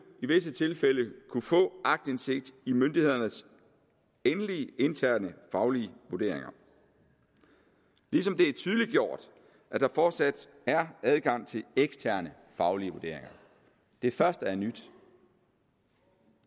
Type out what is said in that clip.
i visse tilfælde kunne få aktindsigt i myndighedernes endelige interne faglige vurderinger ligesom det er tydeliggjort at der fortsat er adgang til eksterne faglige vurderinger det første er nyt